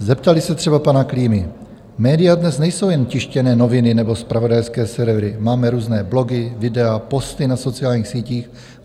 Zeptali se třeba pana Klímy: "Média dnes nejsou jen tištěné noviny nebo zpravodajské servery, máme různé blogy, videa, posty na sociálních sítích.